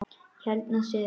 Ég held nú síður.